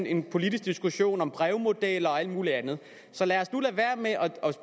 en politisk diskussion om brevmodeller og alt muligt andet så lad os nu lade være med at